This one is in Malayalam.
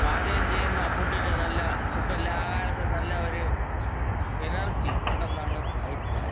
പാചകം ചെയ്യുന്ന ഫുഡിന് നല്ല ഫുഡല്ല ആഹാരത്തിന് നല്ല ഒര് എനർജി ഉണ്ടെന്നാണ് അഭിപ്രായം.